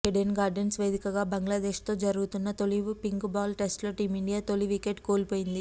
Eden Gardens వేదికగా బంగ్లాదేశ్తో జరుగుతున్న తొలి పింక్ బాల్ టెస్ట్లో టీమిండియా తొలి వికెట్ కోల్పోయింది